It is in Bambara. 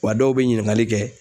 Wa dɔw be ɲininkali kɛ